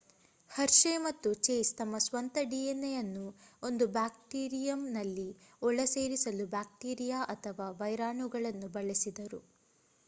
Hershey ಮತ್ತು Chase ತಮ್ಮ ಸ್ವಂತ dna ಯನ್ನು ಒಂದು ಬ್ಯಾಕ್ಟೀರಿಯಮ್ನಲ್ಲಿ ಒಳ ಸೇರಿಸಲು ಬ್ಯಾಕ್ಟೀರಿಯಾ ಅಥವಾ ವೈರಾಣುಗಳನ್ನು ಬಳಸಿದರು